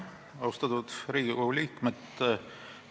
Austatud Riigikogu liikmed!